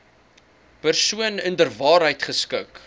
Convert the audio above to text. persoon inderwaarheid geskik